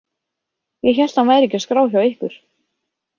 Ég hélt að hann væri ekki á skrá hjá ykkur.